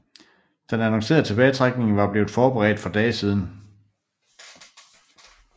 Den annoncerede tilbagetrækning var blevet forberedt for dage siden